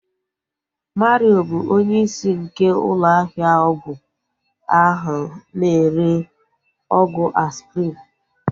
Mario bụ onye isi nke ụlọ ahịa ọgwụ ahu na-ere ọgwụ Aspirin